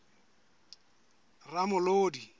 ramolodi